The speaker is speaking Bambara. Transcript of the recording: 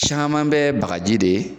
Caman bɛ bagaji de